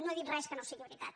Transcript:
no he dit res que no sigui veritat